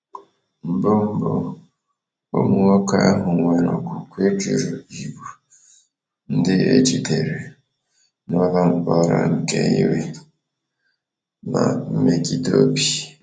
Mbụ, Mbụ, ụmụ nwoke ahụ nwere okwukwe jụrụ ịbụ ndị e jidere n’ụlọ mkpọrọ nke iwe na mmegide obi.